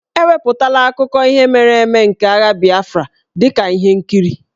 E wepụtala akụkọ ihe mere eme nke agha Biafra dị ka ihe nkiri.